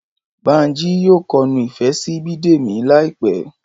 Bánjí yóò kọnu ìfẹ́ sí Bídèmí láì pẹ́